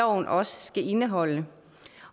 også skal indeholde